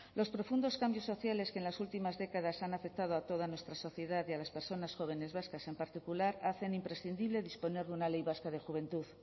los profundos cambios sociales que en las últimas décadas han afectado a toda nuestra sociedad y a las personas jóvenes vascas en particular hacen imprescindible disponer de una ley vasca de juventud